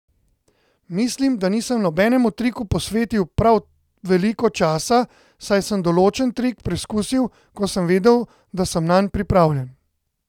Mislim, da nisem nobenemu triku posvetil prav veliko časa, saj sem določen trik preizkusil, ko sem vedel, da sem nanj pripravljen.